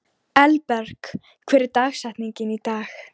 Elberg, hver er dagsetningin í dag?